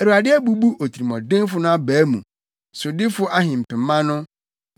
Awurade abubu otirimɔdenfo no abaa mu, sodifo ahempema no,